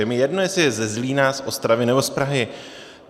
Je mi jedno, jestli je ze Zlína, z Ostravy nebo z Prahy.